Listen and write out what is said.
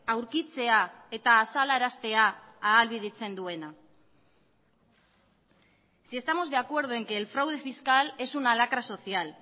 aurkitzea eta azalaraztea ahalbidetzen duena si estamos de acuerdo en que el fraude fiscal es una lacra social